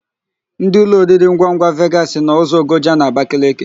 Ndị ụlọoriringwangwa Vegasị nọ ụzọ Ogoja n'Abakeleke.